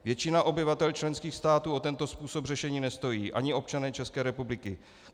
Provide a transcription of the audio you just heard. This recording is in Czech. Většina obyvatel členských států o tento způsob řešení nestojí, ani občané České republiky.